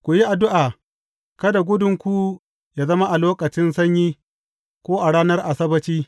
Ku yi addu’a, kada gudunku yă zama a lokacin sanyi ko a ranar Asabbaci.